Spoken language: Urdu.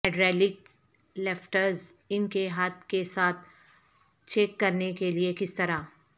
ہائیڈرالک لفٹرز ان کے ہاتھ کے ساتھ چیک کرنے کے لئے کس طرح